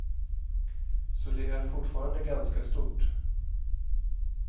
Så det är fortfarande ganska stort.